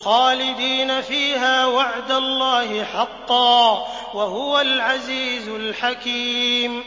خَالِدِينَ فِيهَا ۖ وَعْدَ اللَّهِ حَقًّا ۚ وَهُوَ الْعَزِيزُ الْحَكِيمُ